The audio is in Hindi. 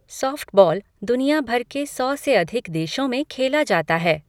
सॉफ्टबॉल दुनिया भर के सौ से अधिक देशों में खेला जाता है।